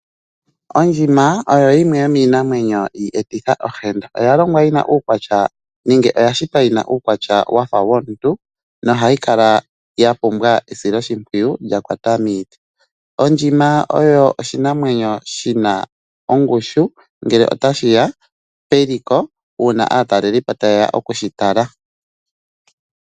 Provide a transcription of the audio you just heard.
Oondjima oyo yimwe yoniinamwenyo iiyeti ohenda, oya longwa yina nenge oya shitwa yina uukwatya wafa womuntu nohayi kala yapumbwa esiloshipwiyu lyakwata miiti. Ondjima oyo oshinamwenyo shina ongushu ngele otashi ya peliko uuna aataleliipo taye ya okushi tala.